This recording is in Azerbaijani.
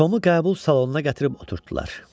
Tomu qəbul salonuna gətirib oturtdular.